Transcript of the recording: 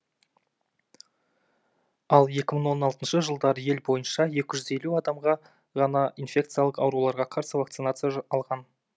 ал екі мың он алтыншы жылдары ел бойынша екі жүз елу адам ғана инфекциялық ауруларға қарсы вакцинация алған